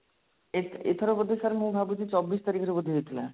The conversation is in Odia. ଏଇ ଏଇଥର ବୋଧେ sir ମୁଁ ଭାବୁଛି ଚବିଶ ତାରିଖରେ ବୋଧେ ହେଇଥିଲା